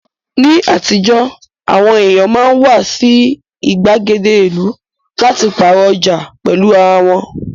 Ní àtijọ́, àwọn èèyàn máa ń wá sí ìgbàgede ìlú láti pààrọ̀ ọjà pẹ̀lú ara wọn